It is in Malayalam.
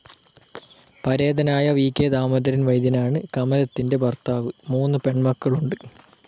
പരേതനായ വി.കെ. ദാമോദരൻ വൈദ്യനാണ് കമലത്തിന്റെ ഭർത്താവ്. മൂന്നു പെണ്മക്കളുണ്ട്.